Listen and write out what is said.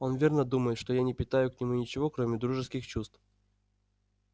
он верно думает что я не питаю к нему ничего кроме дружеских чувств